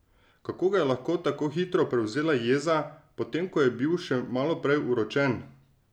Kako ga je lahko tako hitro prevzela jeza, potem ko je bil še maloprej uročen?